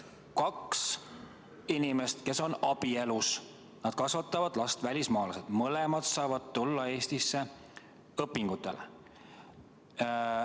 Kaks inimest, kes on abielus, kasvatavad last, nad on välismaalased, mõlemad saavad tulla Eestisse õpingutele.